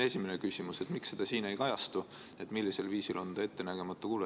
Esimene küsimus on, et miks siin ei kajastu see, millisel viisil on see ettenägematu kulu.